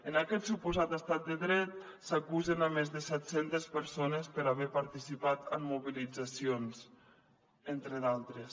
en aquest suposat estat de dret s’acusa més de set centes persones per haver participat en mobilitzacions entre d’altres